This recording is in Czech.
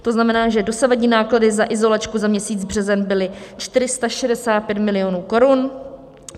To znamená, že dosavadní náklady za izolačku za měsíc březen byly 465 milionů korun.